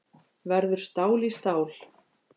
Verður stál í stál